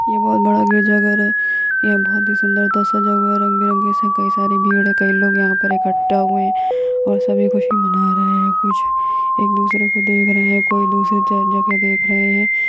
ये बहुत बड़ा गिरिजाघर है ये बहुत ही सुंदरता सजा हुआ है रंग-बिरंगे से कई सारे भीड़ है कई लोग यहां पर इकठ्ठा हुए है और सभी खुशी मना रहे है कुछ एक दूसरे को देख रहे है कोई दूसरे ज जगह देख रहे है।